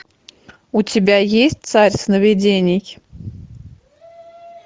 у тебя есть царь сновидений